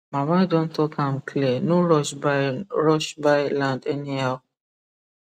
mama don talk am clear no rush buy rush buy land anyhow